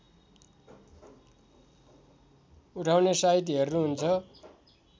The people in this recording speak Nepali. उठाउने साइत हेर्नुहुन्छ